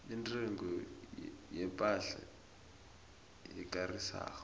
intengo yepahla ekarisako